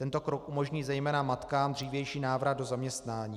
Tento krok umožní zejména matkám dřívější návrat do zaměstnání.